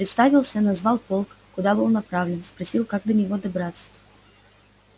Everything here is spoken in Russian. представился назвал полк куда был направлен спросил как до него добраться